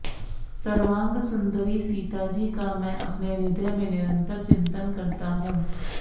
सर्वांगसुन्दरी सीताजी का मैं अपने हृदयमे निरन्तर चिन्तन करता हूँ